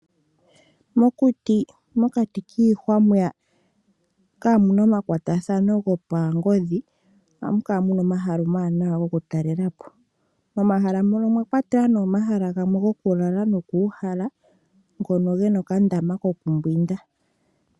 Mokuti mokati kiihwa mwiya kaamuna omakwatathano gopangodhi ohamu kala omahala omawanawa foku talela po momahala mono omwa kwatelwa nee omahala gamwe goku lala nokuu hala ngono gena okandama kokumbwinda.